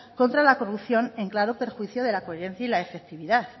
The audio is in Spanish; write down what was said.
contra la corrupción en claro perjuicio de la cogerencia y efectividad